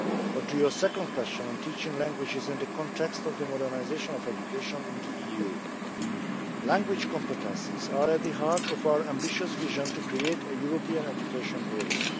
On your second question, on teaching languages in the context of the modernisation of education in the EU language competences are at the heart of our ambitious vision to create a European Education Area.